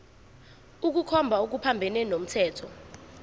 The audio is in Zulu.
ukukhomba okuphambene nomthetho